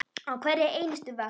Á hverri einustu vakt.